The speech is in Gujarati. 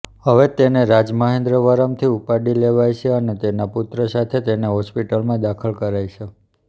હવે તેને રાજમહેન્દ્રવરમથી ઉપાડી લેવાઇ છે અને તેના પુત્ર સાથે તેને હોસ્પિટલમાં દાખલ કરાઇ છે